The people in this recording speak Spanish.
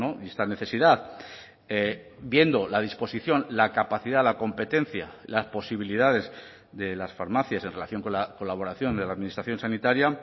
y esta necesidad viendo la disposición la capacidad la competencia las posibilidades de las farmacias en relación con la colaboración de la administración sanitaria